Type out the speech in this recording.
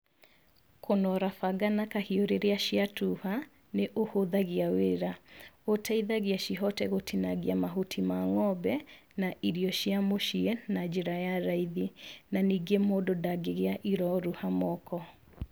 Kũnora banga na kahiũ rĩrĩa cia tuha, nĩ ũhũthagia wira, ũteithagia cihote gũtinangia mahuti ma ng'ombe na irio cia mũciĩ na njĩra ya raithi na ningĩ mũndũ ndagĩgĩa iroruha moko.